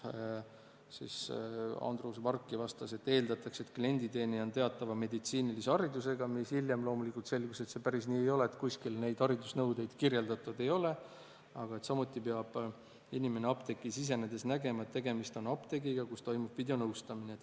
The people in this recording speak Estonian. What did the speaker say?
Andrus Varki vastas, et eeldatakse, et klienditeenindaja on teatava meditsiinilise haridusega – hiljem loomulikult selgus, et see päris nii ei ole, kuskil neid haridusnõudeid kirjeldatud ei ole –, samuti peab inimene apteeki sisenedes nägema, et tegemist on apteegiga, kus toimub videonõustamine.